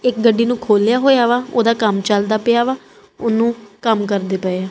ਇੱਕ ਗੱਡੀ ਨੂੰ ਖੋਲਿਆ ਹੋਇਆ ਵਾ ਓਹਦਾ ਕੰਮ ਚਲਦਾ ਪਿਆ ਵਾ ਓਹਨੂੰ ਕੰਮ ਕਰਦੇ ਪਏਆਂ।